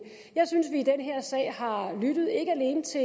jeg synes at vi i den her sag har har lyttet ikke alene til